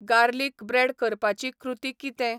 Garlic bread करपाची क्रुती कितें ?